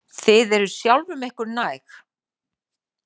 Þið eruð sjálfum ykkur næg.